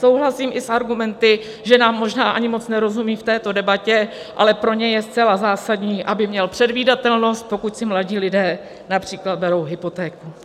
Souhlasím i s argumenty, že nám možná ani moc nerozumí v této debatě, ale pro ně je zcela zásadní, aby měl předvídatelnost, pokud si mladí lidé například berou hypotéku.